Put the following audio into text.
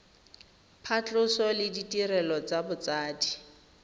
phatlhoso le ditirelo tsa botsadi